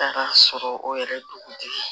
Taga sɔrɔ o yɛrɛ ye dugutigi ye